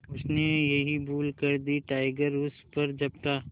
उसने यही भूल कर दी टाइगर उस पर झपटा